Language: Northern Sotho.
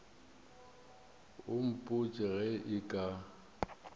o mpotše ge e ka